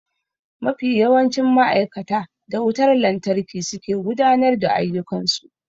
Mafi yawancin ma'aikata da wutar lantarki suke gudanar da ayyukan su.